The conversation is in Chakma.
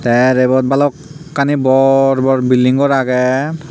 te ibot bhalokkani bor bor building ghor aage.